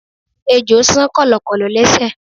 Ejò san kọ̀lọ̀kọ̀lọ̀ lésẹ̀.